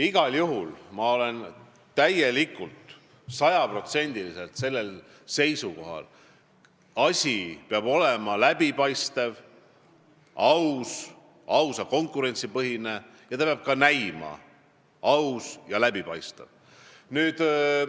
Igal juhul olen ma täielikult, sajaprotsendiliselt seisukohal, et asi peab olema läbipaistev, aus, ausa konkurentsi põhine ning ta peab ka näima aus ja läbipaistev.